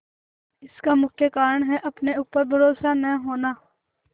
इसका मुख्य कारण है अपने ऊपर भरोसा न होना